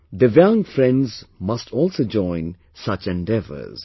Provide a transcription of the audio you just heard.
Divyang friends must also join such endeavours